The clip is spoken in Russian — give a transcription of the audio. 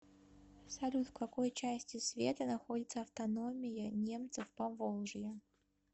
салют в какой части света находится автономия немцев поволжья